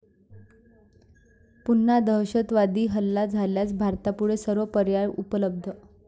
पुन्हा दहशतवादी हल्ला झाल्यास भारतापुढे सर्व पर्याय उपलब्ध